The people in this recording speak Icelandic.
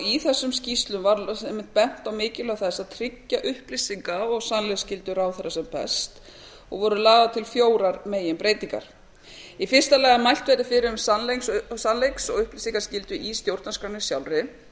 í þessum skýrslum var einmitt bent á mikilvægi þess að tryggja upplýsinga og sannleiksgildi ráðherra sem best og voru lagðar til fjórar meginbreytingar í fyrsta lagi að mælt verði fyrir um sannleiks og upplýsingaskyldu í stjórnarskránni sjálfri